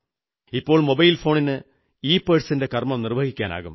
ഇപ്പോൾ മൊബൈൽ ഫോണിന് ഇപേഴ്സിന്റെ കർമ്മം നിർവ്വഹിക്കാനാകും